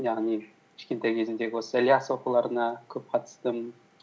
яғни кішкентай кезімдегі осы ілияс оқуларына көп қатыстым